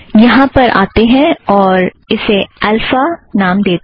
यहाँ पर आते हैं और इसे ऐल्फ़ा नाम देतें हैं